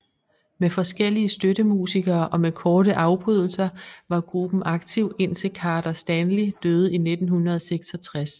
Med forskellige støttemusikere og med korte afbrydelser var gruppen aktiv indtil Carter Stanley døde i 1966